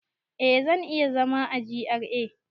Eh, zan iya zama a GRA